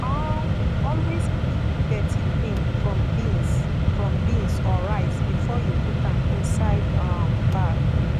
um always pick dirty thing from beans from beans or rice before you put am inside um bag